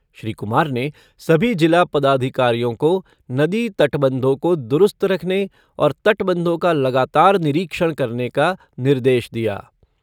श्री कुमार ने सभी जिला पदाधिकारियों को नदी तटबंधों को दुरूस्त रखने और तटबंधों का लगातार निरीक्षण करने का निर्देश दिया।